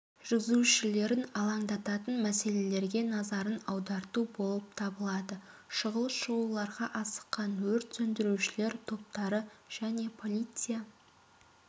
жүргізушілерін алаңдатын мәселелерге назарын аударту болып табылады шұғыл шығуларға асыққан өрт сөндірушілер топтары және полиция